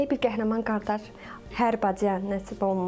Belə bir qəhrəman qardaş hər bacıya nəsib olmur.